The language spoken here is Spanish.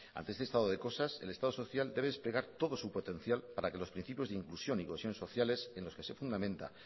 ante este estado de cosas el estado social debe desplegar todo su potencial para que los principios de inclusión y cohesión sociales en los que se fundamenta